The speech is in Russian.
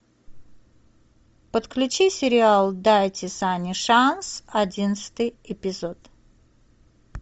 подключи сериал дайте санни шанс одиннадцатый эпизод